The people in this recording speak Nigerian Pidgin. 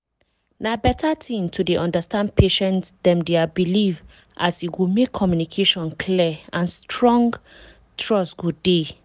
na beta thing to dey understand patient dem dia belief as e go make communication clear and strong trust go dey.